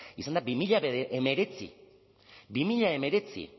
izan da bi mila hemeretzi bi mila hemeretzi